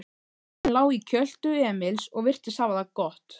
Hvolpurinn lá í kjöltu Emils og virtist hafa það gott.